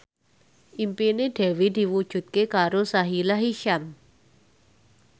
impine Dewi diwujudke karo Sahila Hisyam